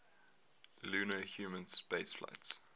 lunar human spaceflights